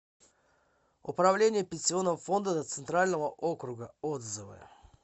управление пенсионного фонда центрального округа отзывы